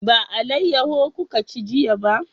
Ba alayaho kuka ci jiya ba?